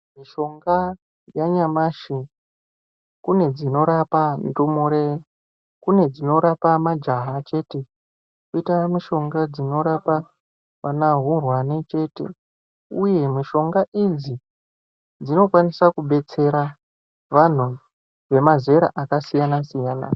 Mishonga yanyamashi kune dzinorapa ndumure kune dzinorapa majaha chete koita mishonga dzinorapa vana hurwani chete uye mishonga idzi dzinokwanisa kudetsera anhu emazera akasiyana siyana.